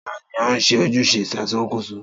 Ta ni ó ń ṣe ojúṣe ìṣàkóso?